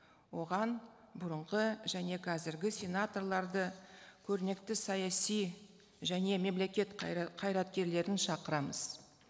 оған бұрынғы және қазіргі сенаторларды көрнекті саяси және мемлекет қайраткерлерін шақырамыз